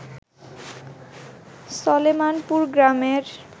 সলেমানপুর গ্রামের